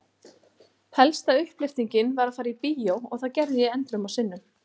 Helsta upplyftingin var að fara í bíó og það gerði ég endrum og sinnum.